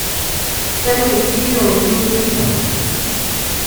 салют видео лил пип